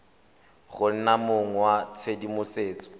go nna mong wa tshedimosetso